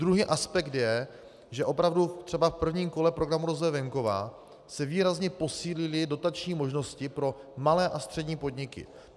Druhý aspekt je, že opravdu třeba v prvním kole Programu rozvoje venkova se významně posílily dotační možnosti pro malé a střední podniky.